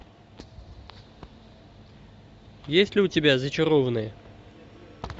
есть ли у тебя зачарованные